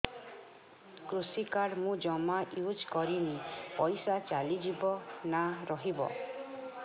କୃଷି କାର୍ଡ ମୁଁ ଜମା ୟୁଜ଼ କରିନି ପଇସା ଚାଲିଯିବ ନା ରହିବ